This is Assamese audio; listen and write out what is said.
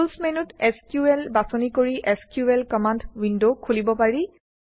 টুলচ্ মেনুত এছক্যুএল বাছনি কৰি এছক্যুএল কমাণ্ড উইণ্ড খুলিব পাৰি